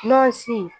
N'ɔ sin